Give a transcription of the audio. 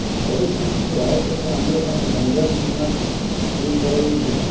ପରିସ୍ଥିତିକୁ ଆୟତ୍ତକୁ ଆଣିବା ପାଇଁ ଗଞ୍ଜାମ ସୀମାକୁ ସିଲ୍ କରାଯାଇଛି